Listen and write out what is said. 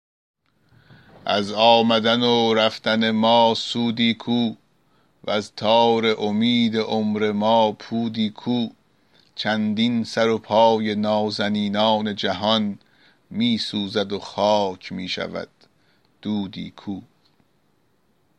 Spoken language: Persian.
از آمدن و رفتن ما سودی کو وز تار امید عمر ما پودی کو چندین سر و پای نازنینان جهان می سوزد و خاک می شود دودی کو